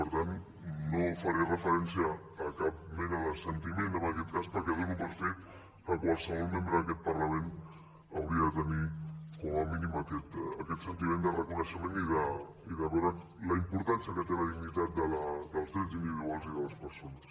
per tant no faré referència a cap mena de sentiment en aquest cas perquè dono per fet que qualsevol membre d’aquest parlament hauria de tenir com a mínim aquest sentiment de reconeixement i de veure la importància que té la dignitat dels drets individuals i de les persones